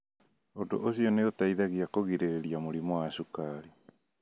Ũndũ ũcio nĩ ũteithagia kũgirĩrĩria mũrimũ wa cukari.